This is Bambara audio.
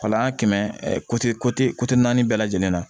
Wala an kɛmɛ naani bɛɛ lajɛlen na